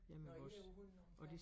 Nåh I på hund nummer 5